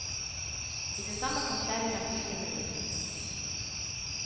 I det samme kom kjerringa fykende ut.